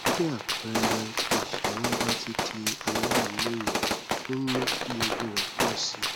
bí àpẹẹrẹ tí ìṣẹyún bá ti di aláìlóye ń mú kí ewu rẹ pọ sí i